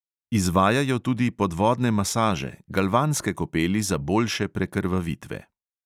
Izvajajo tudi podvodne masaže, galvanske kopeli za boljše prekrvavitve.